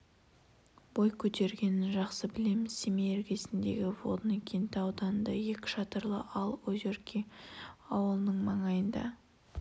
бой көтергенін жақсы білеміз семей іргесіндегі водный кенті ауданында екі шатырлы ал озерки ауылының маңайында